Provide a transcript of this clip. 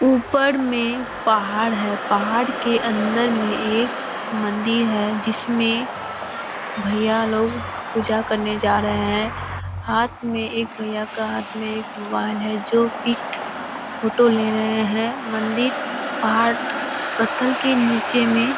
ऊपर में पहाड़ है पहाड़ के अंदर में एक मंदिर है जिसमें भैया लोग पूजा करने जा रहे हैं हाथ में एक भैया के हाथ में एक मोबाइल है जो पिक फोटो ले रहे हैं मंदिर पहाड़ पत्थर के नीचे में --